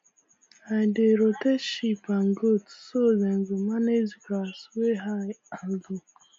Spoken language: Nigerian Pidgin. i dey rotate sheep and goat so dem go manage grass wey high and low